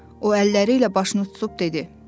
O əlləri ilə başını tutub dedi: